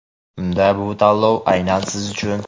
Unda bu tanlov aynan siz uchun!.